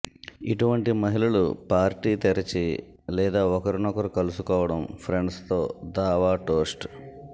ఇటువంటి మహిళలు పార్టీ తెరిచి లేదా ఒకరినొకరు కలుసుకోవడం ఫ్రెండ్స్తో దావా టోస్ట్